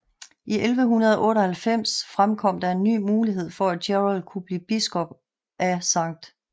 I 1198 fremkom der en ny mulighed for at Gerald kunne blive biskop af St